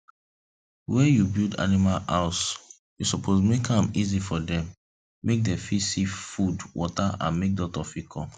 where you build animal house u suppose make am easy for them make dem fit see food water and make doctor fir come